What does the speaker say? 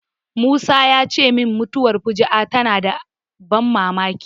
Musa ya ce min mutuwar fuju'a tana da ban mamaki.